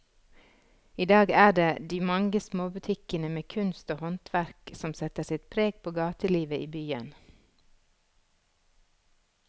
I dag er det de mange små butikkene med kunst og håndverk som setter sitt preg på gatelivet i byen.